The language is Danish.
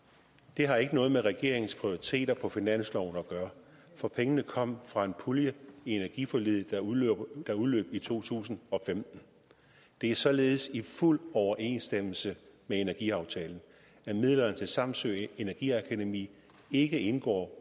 det har ikke noget med regeringens prioriteter på finansloven at gøre for pengene kom fra en pulje i energiforliget der udløb i to tusind og femten det er således i fuld overensstemmelse med energiaftalen at midlerne til samsø energiakademi ikke indgår